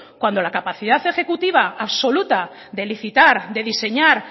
cuando la capacidad ejecutiva absoluta de licitar de diseñar